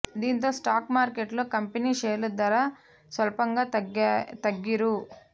దీంతో స్టాక్ మార్కెట్లో company share ధర స్వల్పంగా తగ్గి రూ